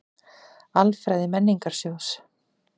Alfræði Menningarsjóðs.